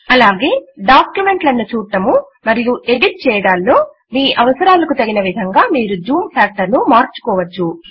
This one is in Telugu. అలాగే డాక్యుమెంట్ లను చూడడము మరియు ఎడిట్ చేయడములో మీ అవుసరలకు తగిన విధముగా మీరు జూమ్ ఫ్యాక్టర్ ను మార్చుకోవచ్చు